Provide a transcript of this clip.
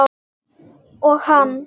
Og hann?